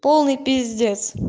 полный пиздец